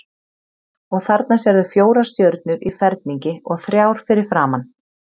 Og þarna sérðu fjórar stjörnur í ferningi og þrjár fyrir framan.